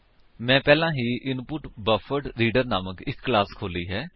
ਮੈਂ ਪਹਿਲਾਂ ਹੀ ਇਨਪੁਟਬੱਫਰਡਰੀਡਰ ਨਾਮਕ ਇੱਕ ਕਲਾਸ ਖੋਲੀ ਹੈ